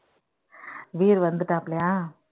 Veer வந்துட்டாப்லயா